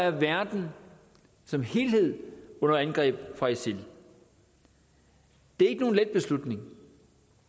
at verden som helhed er under angreb fra isil det er ikke nogen let beslutning